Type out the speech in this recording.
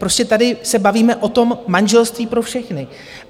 Prostě tady se bavíme o tom manželství pro všechny.